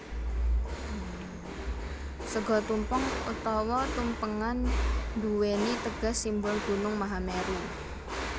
Sega tumpeng utawa tumpengan nduwèni teges simbol gunung Mahameru